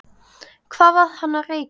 Hvað var hann að reykja?